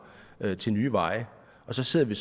til nye veje og så står vi